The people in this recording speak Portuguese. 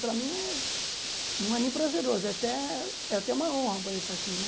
Para mim é não é nem prazeroso, é até é até uma honra poder estar aqui, né?